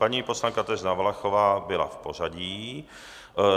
Paní poslankyně Kateřina Valachová byla v pořadí.